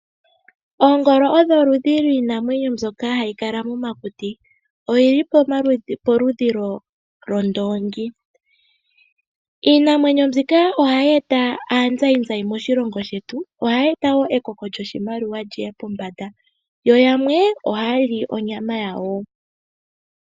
Oongolo odho iinamwenyo mbyoka hayi kala mokuti. Odhili polupe lwondoongi na ohadhi eta aazayizayi moshilongo shetu shono hashi kokeke eliko lyoshilongo. Aantu yamwe ohaa li onyama yadho.